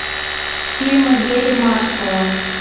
фильмы гэри маршалла